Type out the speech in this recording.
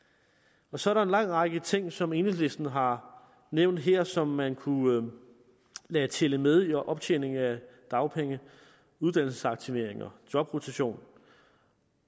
så er der en lang række ting som enhedslisten har nævnt her som man kunne lade tælle med i optjeningen af dagpenge uddannelsesaktivering jobrotation